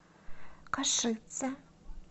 кошице